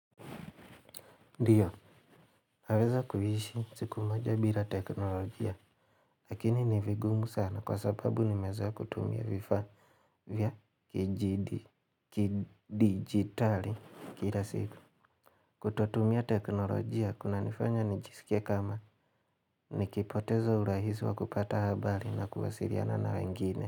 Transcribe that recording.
Ndiyo, naweza kuishi siku moja bila teknologia, lakini ni vigumu sana kwa sababu nimezoea kutumia vifaa vya kidijitali kila siku. Kutotumia teknologia, kunanifanya nijisikie kama, nikipoteza urahisi wa kupata habari na kuwasiliana na wangine.